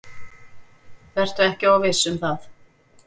Vertu ekki of viss um það.